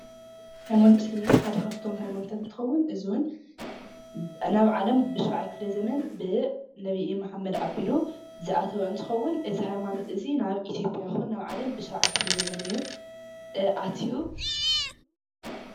ሃይማኖት እስልምና ሓደ ካፍቶም ሃይማኖት ሓደ እንትከውን እዚ ዉን ናብ ዓለም ብ7ይ ክፍለ ዘመን ብነብይ መሓመድ ኣብሉ ዝኣተው እንትከውን እዚ ሃይማኖት እዚ ሃይማኖት ናብ ኢትዮጱያ ይኩን ናብ ዓለም በ7ይ ክፍለ ዘመን እየ ኣትዩ።